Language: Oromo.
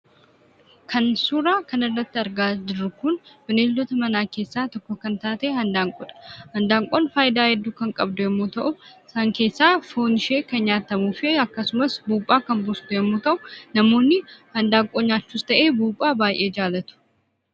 Kan suuraa kanarratti argaa jirru kun bineeldota manaa keessaa tokko kan taate Handaaqqoodha. Handaaqqoon faayidaa hedduu kan qabdu yommuu ta'u; isaan keessaa foon ishee kan nyaatamuu fi akkasumas buuphaa kan buustu yommuu ta'u, namoonni Handaaqqoo nyaachuus ta'e buphaa baay'ee jaallatu.